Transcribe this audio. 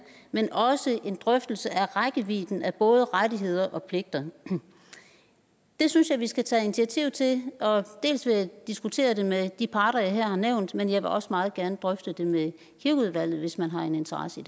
men også en drøftelse af rækkevidden af både rettigheder og pligter det synes jeg vi skal tage initiativ til dels vil jeg diskutere det med de parter jeg her har nævnt men jeg vil også meget gerne drøfte det med kirkeudvalget hvis man har en interesse